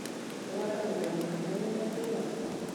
Tũratengerĩre mũthenya wothe twĩ hamwe